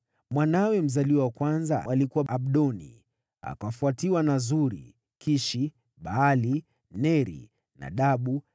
mwanawe mzaliwa wa kwanza alikuwa Abdoni, akafuatiwa na Suri, Kishi, Baali, Neri, Nadabu,